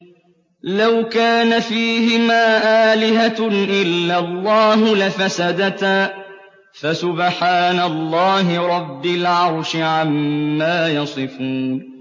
لَوْ كَانَ فِيهِمَا آلِهَةٌ إِلَّا اللَّهُ لَفَسَدَتَا ۚ فَسُبْحَانَ اللَّهِ رَبِّ الْعَرْشِ عَمَّا يَصِفُونَ